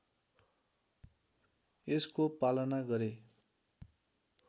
यसको पालन गरे